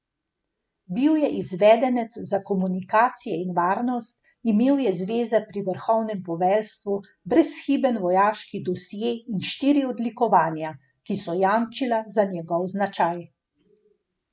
Bil je izvedenec za komunikacije in varnost, imel je zveze pri vrhovnem poveljstvu, brezhiben vojaški dosje in štiri odlikovanja, ki so jamčila za njegov značaj.